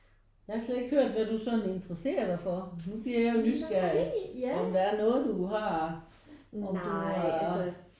Jeg har slet ikke hørt hvad du sådan interesserer dig for? Nu bliver jeg jo nysgerrig om der er noget du har om du har